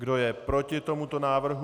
Kdo je proti tomuto návrhu?